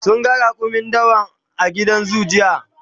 sun ga raƙumin dawa a gidan zoo jiya